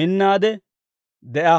minnaade de'a.